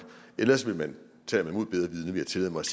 ellers vil jeg tillade mig